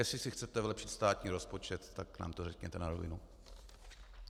Jestli si chcete vylepšit státní rozpočet, tak nám to řekněte na rovinu.